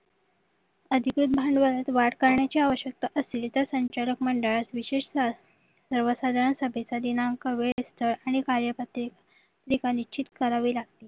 अधिक भांडवलात वाढ करण्याची आवश्यकता असली तर संचालक मंडळात विशेषता सर्व सर्वसाधारण सभेत दिनांक वेळ स्थळ आणि कार्यपत्रे पत्रिका निश्चित करावे लागते